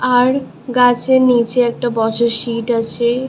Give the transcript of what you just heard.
আর গাছের নিচে একটা বসার সিট আছে।